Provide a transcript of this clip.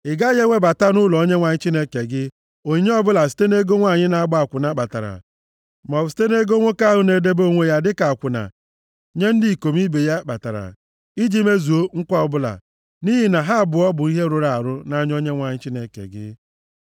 Ị gaghị ewebata nʼụlọ Onyenwe anyị Chineke gị, onyinye ọbụla site nʼego nwanyị na-agba akwụna kpatara, maọbụ site nʼego nwoke ahụ na-edebe onwe ya dịka akwụna nye ndị ikom ibe + 23:18 Maọbụ, ego e retara na nkịta ya kpatara, iji mezuo nkwa ọbụla. Nʼihi na ha abụọ bụ ihe rụrụ arụ nʼanya Onyenwe anyị Chineke gị.